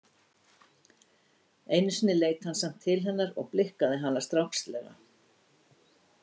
Einu sinni leit hann samt til hennar og blikkaði hana strákslega.